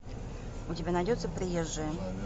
у тебя найдется приезжие